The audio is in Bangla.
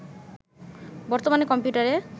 বর্তমানে কম্পিউটারে